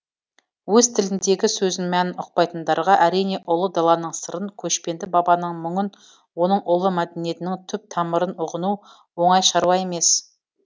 өз тіліндегі сөздің мәнін ұқпайтындарға әрине ұлы даланың сырын көшпенді бабаның мұңын оның ұлы мәдениетінің түп тамырын ұғыну оңай шаруа емес